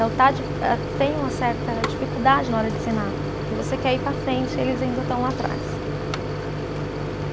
tem uma certa dificuldade na hora de ensinar, porque você quer ir para a frente e eles ainda estão lá atrás.